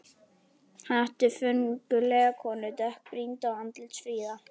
Hann átti föngulega konu, dökkbrýnda og andlitsfríða.